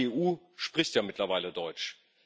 Aber die EU spricht ja mittlerweile Deutsch.